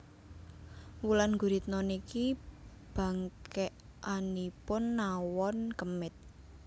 Wulan Guritno niki bangkekanipun nawon kemit